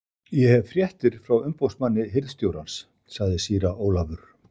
Ég hef fréttir frá umboðsmanni hirðstjórans, sagði síra Ólafur.